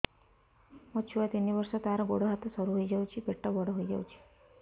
ମୋ ଛୁଆ ତିନି ବର୍ଷ ତାର ଗୋଡ ହାତ ସରୁ ହୋଇଯାଉଛି ପେଟ ବଡ ହୋଇ ଯାଉଛି